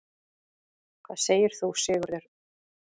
Hvað segir þú, Sigurður?